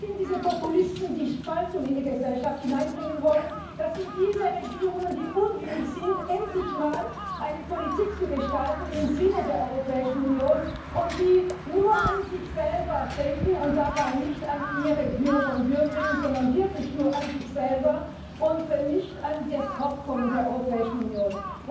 das sind diese Populisten, die Spaltung in die Gesellschaft hineinbringen wollen, das sind diese Regierungen, die unwillig sind, endlich mal eine Politik im Sinne der Europäischen Union zu gestalten, und die nur an sich selber denken und dabei nicht an ihre Bürger und Bürgerinnen, sondern wirklich nur an sich selber und nicht an das Fortkommen der Europäischen Union.